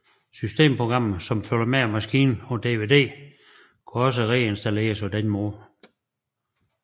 Systemprogrammet som følger med maskinen på DVD kan også reinstalleres på denne måde